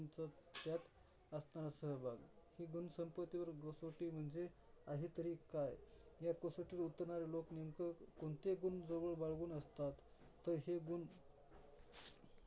त्यात असणारा सहभाग. हे गुण संपत्तीवर कसोटी म्हणजे आहे तरी काय? या कसोटीवर उतरणारे लोक नेमक कोणते गुण जवळ बाळगून असतत, तर हे गुण